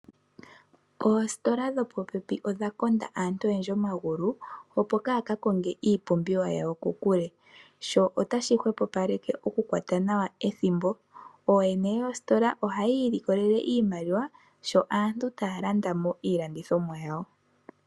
Oostola dhopopepi odha konda aantu oyendji omagulu opo kaaya kakonge iipumbiwa yawo kokule. Sho otashi hwepopaleke okukwata nawa ethimbo. Ooyene yoostola ohaya ilikolele iimaliwa sho aantu taya landa mo iilandithomwa yawo.